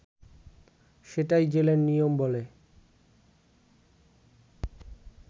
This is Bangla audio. সেটাই জেলের নিয়ম” বলে